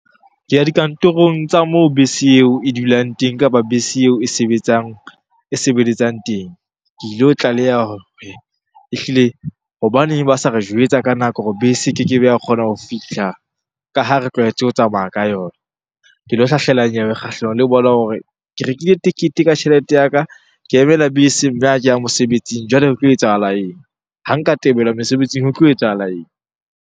Ke ya dikantorong tsa moo bese eo e dulang teng kapa bese eo e sebetsang, e sebeletsang teng. Ke ilo tlaleha hore ehlile hobaneng ba sa re jwetsa ka nako hore bese e keke be ya kgona ho fihla ka ha re tlwaetse ho tsamaya ka yona? Ke lo hlahlela nyewe kgahlanong le bona hore ke rekile tekete ka tjhelete ya ka, ke emela bese mme ha ke ya mosebetsing. Jwale re tlo etsahala eng? Ha nka tebelwa mesebetsing ho tlo etsahala eng?